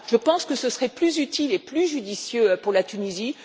Je pense que ce serait plus utile et plus judicieux pour la Tunisie.